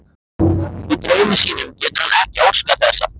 Í draumi sínum getur hann ekki óskað þess þær hverfi.